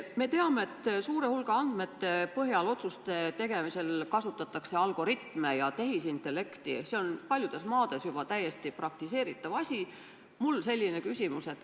Me teame, et suure hulga andmete põhjal otsuste tegemisel kasutatakse algoritme ja tehisintellekti, see on paljudes maades juba täiesti praktiseeritav asi.